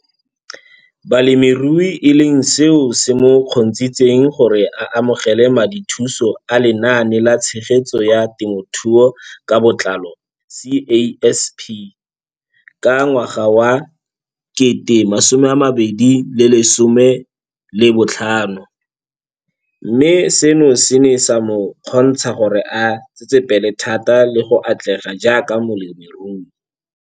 Balemirui e leng seo se mo kgontshitseng gore a amogele madithuso a Lenaane la Tshegetso ya Te mothuo ka Botlalo CASP ka ngwaga wa 2015, mme seno se ne sa mo kgontsha gore a tsetsepele thata le go atlega jaaka molemirui.